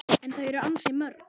En þau eru ansi mörg